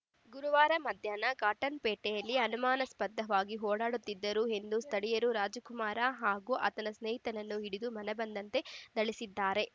ಗುರುವಾರ ಮಧ್ಯಾಹ್ನ ಕಾಟನ್‌ಪೇಟೆಯಲ್ಲಿ ಅನುಮಾನಾಸ್ಪದವಾಗಿ ಓಡಾಡುತ್ತಿದ್ದರು ಎಂದು ಸ್ಥಳೀಯರು ರಾಜಕುಮಾರ ಹಾಗೂ ಆತನ ಸ್ನೇಹಿತನನ್ನು ಹಿಡಿದು ಮನಬಂದಂತೆ ಥಳಿಸಿದ್ದಾರೆ